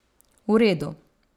V redu.